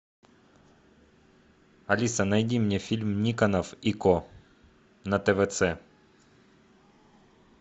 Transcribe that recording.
алиса найди мне фильм никонов и ко на твц